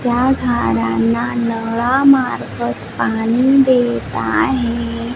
त्या झाडांना नळा मार्फत पाणी देत आहे.